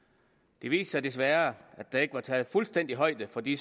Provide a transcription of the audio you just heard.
det viste sig desværre at der ikke var taget fuldstændig højde for de